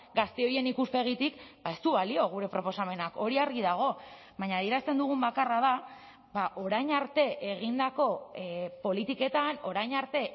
gazte horien ikuspegitik ez du balio gure proposamenak hori argi dago baina adierazten dugun bakarra da orain arte egindako politiketan orain arte